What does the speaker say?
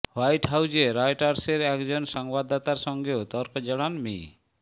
white হাউজে রয়টার্সের একজন সংবাদদাতার সঙ্গেও তর্কে জড়ান মি